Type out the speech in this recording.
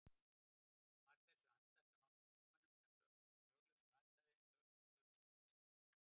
Var þessu andæft af nokkrum þingmönnum sem löglausu athæfi, en lögreglustjóri sat við sinn keip.